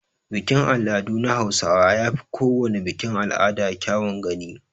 Bikin al'adu na hausawa yafi kowana bikin al'ada kyawun gani.